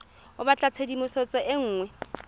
o batla tshedimosetso e nngwe